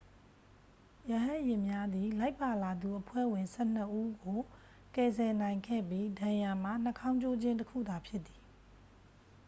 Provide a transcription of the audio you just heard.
ရဟတ်ယာဉ်များသည် လိုက်ပါလာသူအဖွဲ့ဝင် ဆယ့်နှစ်ဦးကို ကယ်ဆယ်နိုင်ခဲ့ပြီး ဒဏ်ရာမှာ နှာခေါင်းကျိုးခြင်း တစ်ခုသာဖြစ်သည်